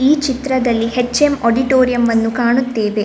ಈ ಚಿತ್ರದಲ್ಲಿ HM auditorium ಅನ್ನು ಕಾಣುತ್ತೇವೆ.